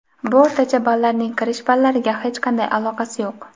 Bu o‘rtacha ballarning kirish ballariga hech qanday aloqasi yo‘q.